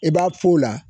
I b'a f'o la